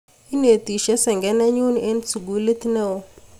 Inetisye senge nenyu eng' sukulit ne oo